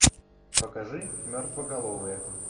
покажи мертвоголовые